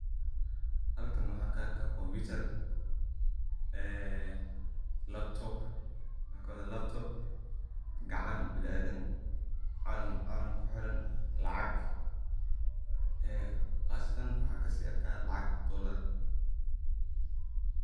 Halkan waxan ka arka compitar, laptop, gacan bili adan, calan kuxiran , lacag qasatan waxan kasi arkey lacag dolar.